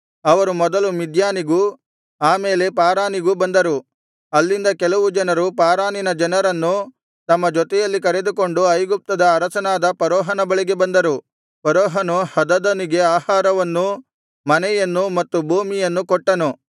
ಅವರು ಮೊದಲು ಮಿದ್ಯಾನಿಗೂ ಆ ಮೇಲೆ ಪಾರಾನಿಗೂ ಬಂದರು ಅಲ್ಲಿಂದ ಕೆಲವು ಜನರು ಪಾರಾನಿನ ಜನರನ್ನು ತಮ್ಮ ಜೊತೆಯಲ್ಲಿ ಕರೆದುಕೊಂಡು ಐಗುಪ್ತದ ಅರಸನಾದ ಫರೋಹನ ಬಳಿಗೆ ಬಂದರು ಫರೋಹನು ಹದದನಿಗೆ ಆಹಾರವನ್ನು ಮನೆಯನ್ನೂ ಮತ್ತು ಭೂಮಿಯನ್ನೂ ಕೊಟ್ಟನು